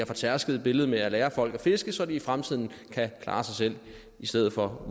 fortærskede billede med at lære folk at fiske så de i fremtiden kan klare sig selv i stedet for at